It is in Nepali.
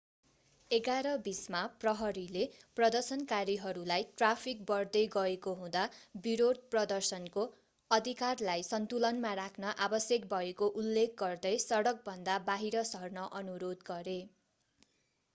11:20 मा प्रहरीले प्रदर्शनकारीहरूलाई ट्राफिक बढ्दै गएको हुँदा विरोध-प्रदर्शनको अधिकारलाई सन्तुलनमा राख्न आवश्यक भएको उल्लेख गर्दै सडकभन्दा बाहिर सर्न अनुरोध गरे